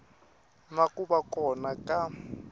na ku va kona ka